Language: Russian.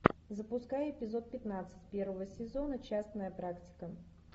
запускай эпизод пятнадцать первого сезона частная практика